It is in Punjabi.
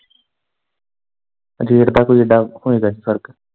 ਰੇਟ ਦਾ ਕੋਈ ਏਡਾ ਹੋਏਗਾ ਨੀ ਫਰਕ।